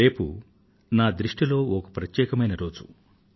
రేపటి రోజు నా దృష్టిలో ఒక ప్రత్యేకమైన రోజు